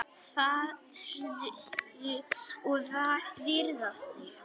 Farðu og viðraðu þig,